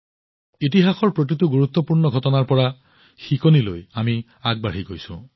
ইতিহাসৰ প্ৰতিটো গুৰুত্বপূৰ্ণ পৰ্যায়ৰ পৰা শিকি আমি আগবাঢ়ি যাওঁ